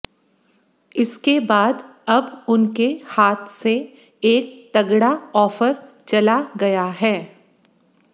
इसके बाद अब उनके हाथ से एक तगड़ा ऑफर चला गया है